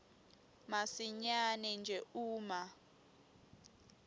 masinyane nje uma